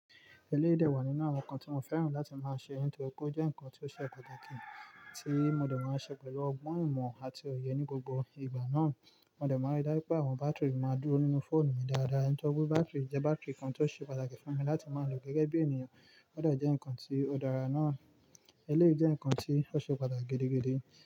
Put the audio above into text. Eléyìí dà wá nínú àwọn nǹkan tí mo féràn láti máa ṣe nítorí pé ó jẹ́ nǹkan tí ó ṣe pàtàkì tí mo dẹ̀ máa ṣe pẹ̀lú ọgbọ́n imo àti ọ̀yẹ ní gbogbo ìgbà náà. Mo dẹ̀ máa rí dá pé àwọn bátìrì máa dúró nínú fóònù mi dáadáa. Tori bátìrì jẹ́ bátìrì kan tí ó ṣe pàtàkì fún mi láti máa lò gẹ́gẹ́ bí ènìyàn. Ó dà jẹ́ ǹkan tí ó dára náà. Eléyìí jẹ́ ǹkan tí ó ṣe pàtàkì gidi gan.